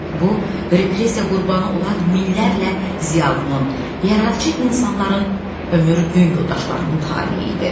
Bu, repressiya qurbanı olan minlərlə ziyalının, yaradıcı insanların ömür-gün yoldaşlarının taleyi idi.